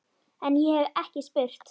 En- ég hef ekki spurt.